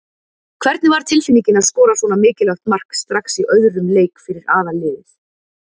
Hvernig var tilfinningin að skora svona mikilvægt mark strax í öðrum leik fyrir aðalliðið?